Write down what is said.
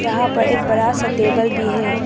यहाँ पर एक बड़ा सा टेबल भी है।